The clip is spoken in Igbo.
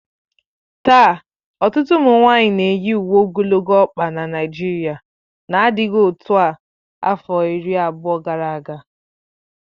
Taa, ọtụtụ ụmụ nwanyị na-eyi uwe ogologo ọkpa na Naijiria n'adịghị otu a afọ iri abụọ gara aga